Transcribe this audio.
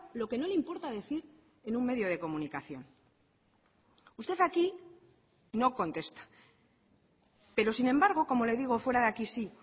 lo que no le importa decir en un medio de comunicación usted aquí no contesta pero sin embargo como le digo fuera de aquí sí